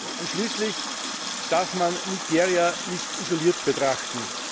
Und schließlich darf man Nigeria nicht isoliert betrachten.